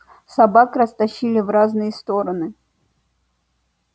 собак растащили в разные стороны